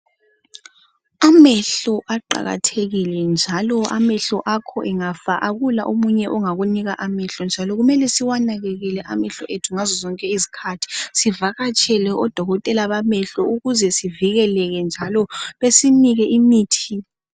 Amehlo aqakathekile njalo amehlo akho engafa akula omunye ongakunika, amehlo. Ngakho kumele siwanakelele amehlo ethu ngazo zonke izikhathi. Sivakatshele odokotela bamehlo, ukuze sivikeleke, njalo besinike imithi.